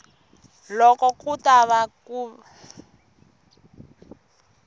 loko ku ta va ku